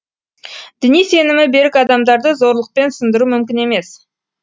діни сенімі берік адамдарды зорлықпен сындыру мүмкін емес